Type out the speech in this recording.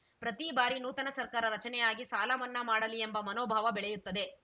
ಪ್ರತೀ ಬಾರಿ ನೂತನ ಸರ್ಕಾರ ರಚನೆಯಾಗಿ ಸಾಲ ಮನ್ನಾ ಮಾಡಲಿ ಎಂಬ ಮನೋಭಾವ ಬೆಳೆಯುತ್ತದೆ